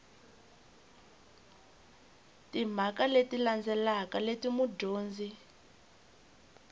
timhaka leti landzelaka leti mudyondzi